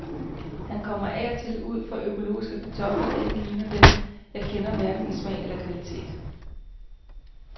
Han kommer af og til ud for økologiske kartofler, der ikke ligner dem, jeg kender, hverken i smag eller kvalitet.